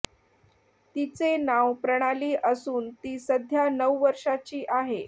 तिचे नाव प्रणाली असून ती सध्या नऊ वर्षाची आहे